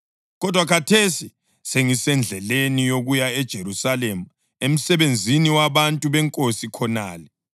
Kodwa khathesi ngisendleleni yokuya eJerusalema emsebenzini wabantu beNkosi khonale.